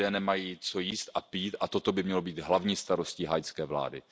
Lidé nemají co jíst a pít a toto by mělo být hlavní starostí haitské vlády.